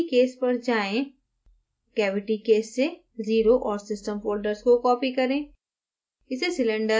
अब cavity case पर जाएँ cavity case से 0 और system folders को copy करें